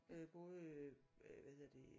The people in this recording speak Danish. Øh både øh hvad hedder det